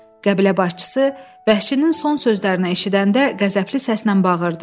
Qəbilə başçısı vəhşinin son sözlərini eşidəndə qəzəbli səslə bağırdı.